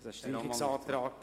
– Das ist der Fall.